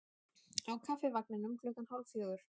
Á Kaffivagninum klukkan hálf fjögur.